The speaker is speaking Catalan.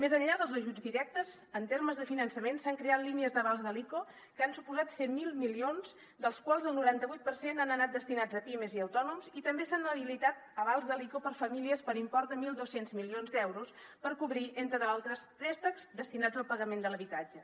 més enllà dels ajuts directes en termes de finançament s’han creat línies d’avals de l’ico que han suposat cent miler milions dels quals el noranta vuit per cent han anat destinats a pimes i autònoms i també s’han habilitat avals de l’ico per a famílies per import de mil dos cents milions d’euros per cobrir entre d’altres préstecs destinats al pagament de l’habitatge